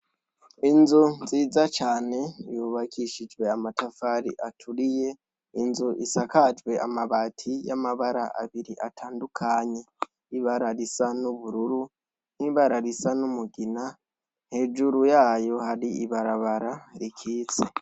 Inzu nziza cane yubakishijwe amatafari aturiye, inzu isakajwe amabati yamabara abiri atandukanye ibara risa n'ubururu nibara risa n'umugina, hejuru yayo hari ibarabara rikitse.